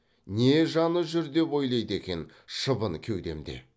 не жаны жүр деп ойлайды екен шыбын кеудемде